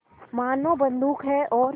मानो बंदूक है और